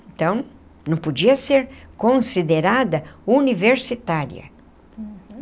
Então, não podia ser considerada universitária. Uhum.